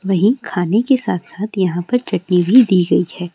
वही खाने के साथ-साथ यहां पर चटनी भी दी गई है।